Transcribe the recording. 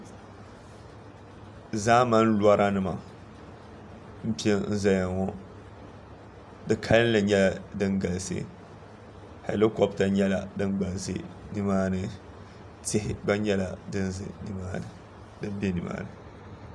zaamani lɔranima m-pe n-zaya ŋɔ di kalinli nyɛla din galisi halikɔpita nyɛla din gba za ni maa ni tihi gba nyɛla din be ni maa ni